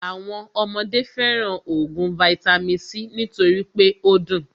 Àwọn ọmọdé fẹràn óògùn vaitami c nítorí pé o dùn.